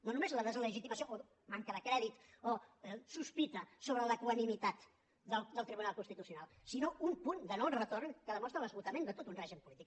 no només la deslegitimació o manca de crèdit o sospita sobre l’equanimitat del tribunal constitucional sinó un punt de noretorn que demostra l’esgotament de tot un règim polític